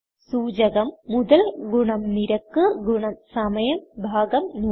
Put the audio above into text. സൂചകം മുതൽ നിരക്ക് സമയം ഭാഗം 100